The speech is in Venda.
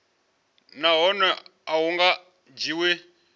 nahone a hu nga dzhiwi